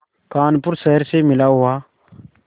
कानपुर शहर से मिला हुआ